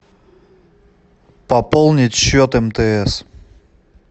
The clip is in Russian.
пополнить счет мтс